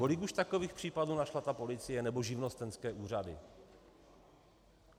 Kolik už takových případů našla ta policie nebo živnostenské úřady?